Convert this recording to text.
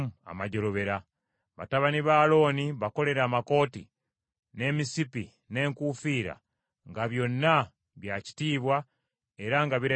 Batabani ba Alooni bakolere amakooti, n’emisipi, n’enkuufiira; nga byonna bya kitiibwa era nga birabika bulungi nnyo.